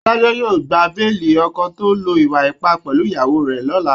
Adájọ́ yóò gba béèlì ọkọ tó lo ìwà ipá pẹ̀lú ìyàwó rẹ̀ lọla